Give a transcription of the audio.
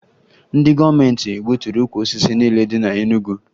Ndị gọọmenti gbuturu ukwu osisi niile dị na Enugwu